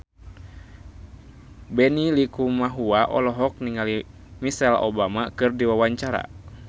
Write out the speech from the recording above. Benny Likumahua olohok ningali Michelle Obama keur diwawancara